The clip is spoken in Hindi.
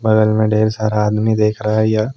बगल में ढेर सारा आदमी देख रहा यह--